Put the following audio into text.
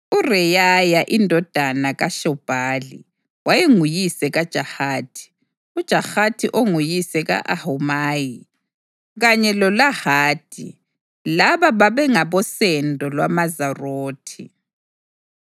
UReyaya indodana kaShobhali wayenguyise kaJahathi, uJahathi onguyise ka-Ahumayi kanye loLahadi. Laba babengabosendo lwamaZorathi.